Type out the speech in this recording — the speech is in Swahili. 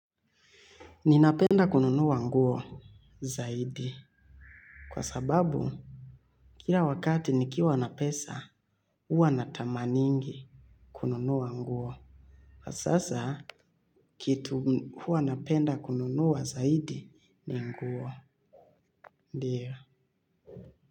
Ninapenda kununua nguo zaidi kwa sababu kila wakati nikiwa na pesa huwa natamaningi kununua nguo. Sasa kitu huwa napenda kununua zaidi ni nguo. Ndiyo.